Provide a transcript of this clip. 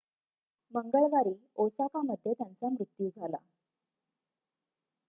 मंगळवारी ओसाकामध्ये त्यांचा मृत्यू झाला